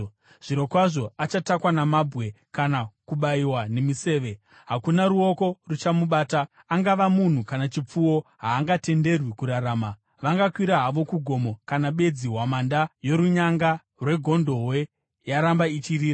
Zvirokwazvo achatakwa namabwe kana kubayiwa nemiseve; hakuna ruoko ruchamubata. Angava munhu kana chipfuwo, haangatenderwi kurarama.’ Vangakwira havo kugomo kana bedzi hwamanda yorunyanga rwegondobwe yaramba ichirira.”